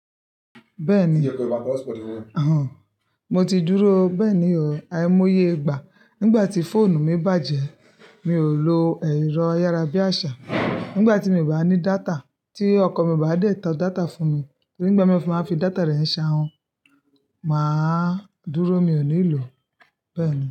Bẹ́ẹ̀ni, o, mo ti dúró bẹ́ẹ̀ni o, àìmọye ìgbà nígbà tí fóònù mi bàjẹ́. Mi ò lo ẹ̀rọ ayárabíàṣá nígbà tí mo ìbá ní data tí ọkọ mi ò bá dé tán data fún mi torí nígbà tí mo fi máa ń fi data rẹ̀ ṣàhun, màá dúró mi ò ní ìlò bẹ́ẹ̀ni.